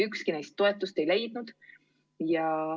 Ükski neist toetust ei leidnud.